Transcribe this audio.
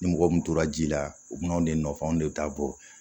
Ni mɔgɔ min tora ji la u bɛ n'anw de nɔfɛ anw de ta bɔ